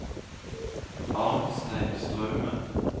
Arnstein Straume